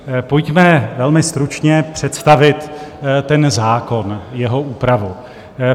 Pojďme velmi stručně představit ten zákon, jeho úpravu.